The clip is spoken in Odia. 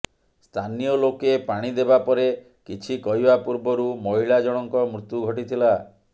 ସ୍ଥାନୀୟ ଲୋକେ ପାଣି ଦେବା ପରେ କିଛି କହିବା ପୂର୍ବରୁ ମହିଳା ଜଣଙ୍କ ମୃତ୍ୟୁ ଘଟିଥିଲା